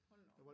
Hold nu op